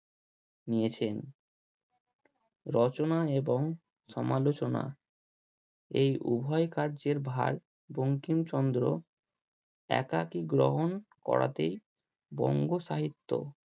নিয়েছেন রচনা এবং সমালোচনা এই উভয় কার্যের ভার বঙ্কিমচন্দ্র একাকি গ্রহণ করাতেই বঙ্গ সাহিত্য